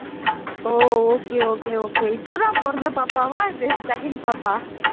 ஓ okay okay okay இப்போதான் பொறந்த பாப்பாவா அது second பாப்பா